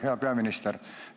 Hea peaminister!